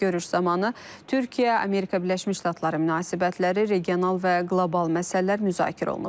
Görüş zamanı Türkiyə-Amerika Birləşmiş Ştatları münasibətləri, regional və qlobal məsələlər müzakirə olunub.